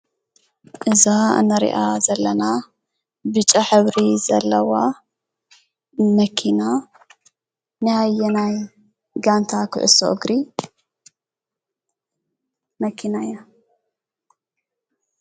እዛ እንሪኣ ዘለና ብጫ ሕብሪ ዘለዋ መኪና ናይ ኣየናይ ጋንታ ኩዕሶ እግሪ መኪና እያ?